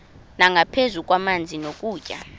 nangaphezu kwamanzi nokutya